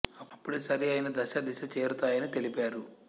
అప్పుడే సరి అయిన దశ దిశ చేరుతాయి అని తెలిపారు